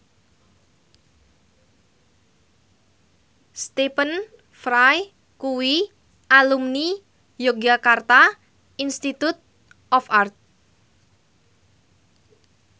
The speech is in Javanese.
Stephen Fry kuwi alumni Yogyakarta Institute of Art